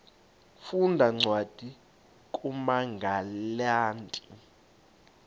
funda cwadi kumagalati